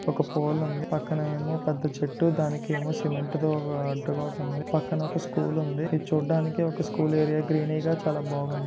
ఒక పోలు ఉంది పక్కన ఏమో పెద్ద చెట్టు దానికేమో సిమెంట్ ది అడ్డుగా ఒకటి ఉంది పక్కన ఒక స్కూల్ ఉంది అది చూడ్డానికి స్కూల్ ఏరియా గ్రీన్ గా చాలా బాగుంది.